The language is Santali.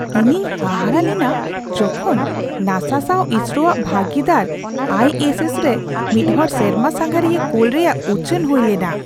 ᱤᱧᱤᱧ ᱦᱟᱦᱟᱲᱟᱜ ᱞᱮᱱᱟ ᱡᱚᱠᱷᱚᱡ ᱱᱟᱥᱟ ᱥᱟᱣ ᱤᱥᱨᱳᱼᱟᱜ ᱵᱷᱟᱹᱜᱤᱫᱟᱨ ᱟᱭ ᱮᱥ ᱮᱥᱼᱨᱮ ᱢᱤᱫ ᱦᱚᱲ ᱥᱮᱨᱢᱟ ᱥᱟᱸᱜᱷᱟᱹᱨᱤᱭᱟᱹ ᱠᱳᱞ ᱨᱮᱭᱟᱜ ᱩᱪᱷᱟᱹᱱ ᱦᱩᱭᱞᱮᱱᱟ !